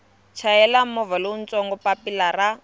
chayela movha lowutsongo papilla ra